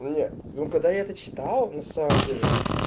ну не ну когда я это читал на самом деле